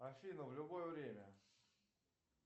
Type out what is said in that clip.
афина в любое время